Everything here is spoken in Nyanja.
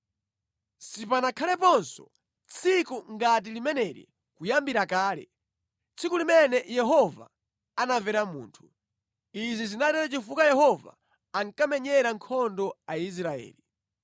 Sipanakhaleponso tsiku ngati limeneli kuyambira kale, tsiku limene Yehova anamvera munthu. Izi zinatero chifukwa Yehova ankamenyera nkhondo Aisraeli.